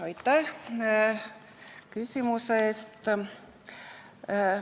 Aitäh küsimuse eest!